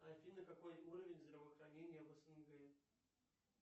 афина какой уровень здравоохранения в снг